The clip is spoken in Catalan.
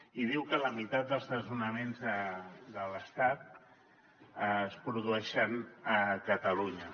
i diu que la meitat dels desnonaments de l’estat es produeixen a catalunya